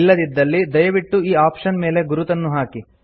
ಇಲ್ಲದಿದ್ದಲ್ಲಿ ದಯವಿಟ್ಟು ಈ ಆಪ್ಷನ್ ಮೇಲೆ ಗುರುತನ್ನು ಹಾಕಿ